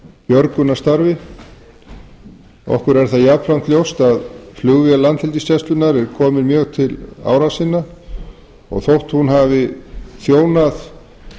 björgunarstarfi okkur er það jafnframt ljóst að flugvél landhelgisgæslunnar er komin mjög til ára sinna og þótt hún hafi þjónað